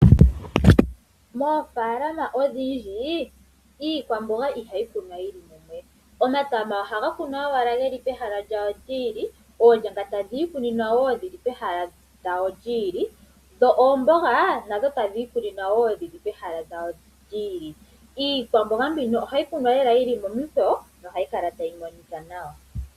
Moofaalama odhindji iikwamboga ihayi kunwa yi li mumwe. Omatama ohaga kunwa owala ge li pehala lyawo lyi ili, oonyanga tadhi ikuninwa wo dhi li pehala lyawo lyi ili noomboga tadhi ikuninwa wo dhi li pehala lyadho lyi ili. Iikwamboga mbino ohayi kunwa yi li momikweyo nohayi kala tayi monika nawa.